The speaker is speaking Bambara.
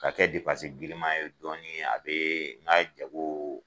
Ka kɛ glima ye dɔɔni a bɛ n ka jagoo.